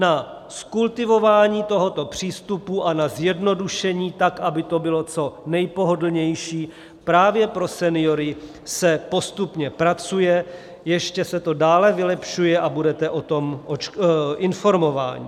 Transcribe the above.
Na zkultivování tohoto přístupu a na zjednodušení tak, aby to bylo co nejpohodlnější právě pro seniory, se postupně pracuje, ještě se to dále vylepšuje a budete o tom informováni.